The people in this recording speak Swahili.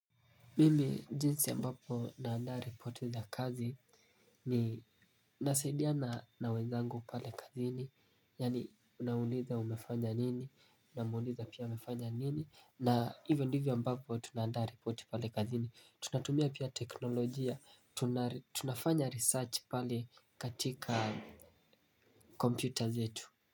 Mimi jinsi ambapo naanda ripoti za kazi ni nasaidiana na wezangu pale kazini. Yaani unauliza umefanya nini, unauliza pia umefanya nini. Na hivyo ndivyo ambavyo tunaanda ripoti pale kazini. Tunatumia pia teknolojia, tunafanya research pale katika computers yetu.